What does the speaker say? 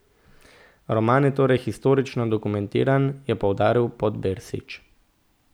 Roman je torej historično dokumentiran, je poudaril Podbersič.